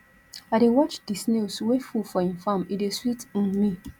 i dey watch di snails wey full for im farm e dey sweet um me